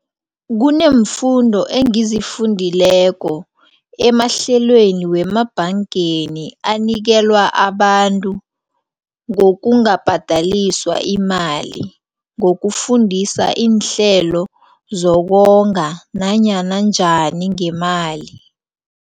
Kuneemfundo engizifundileko emahlelweni wemabhangeni anikelwa abantu ngokungabhadaliswa imali. Ngokufundisa iinhlelo zokonga nanyana njani ngemali.